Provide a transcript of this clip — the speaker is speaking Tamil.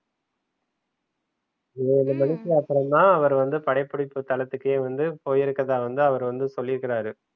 மூனு மணிக்கு அப்புறம் தான் அவர் வந்து படபிடிப்பு தளத்துக்கே வந்து போயிருக்கரதா வந்து அவரு வந்து சொல்லிருக்குறாரு